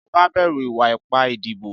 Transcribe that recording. Ìjọba bẹ̀rù ìwà ipá ìdìbò.